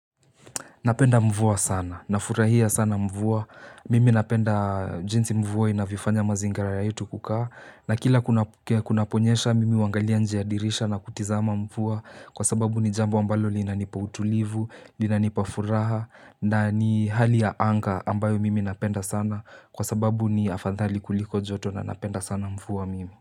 Napenda mvua sana. Nafurahia sana mvua. Mimi napenda jinsi mvua inavyofanya mazingira yetu kukaa. Na kila kunaponyesha, mimi huangalia nje ya dirisha na kutizama mvua, kwa sababu ni jambo ambalo linanipa utulivu, linanipa furaha na ni hali ya anga, ambayo mimi napenda sana, kwa sababu ni afadhali kuliko joto na napenda sana mvuwa mimi.